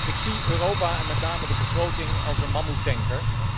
Ik zie Europa, en met name de begroting, als een mammoettanker.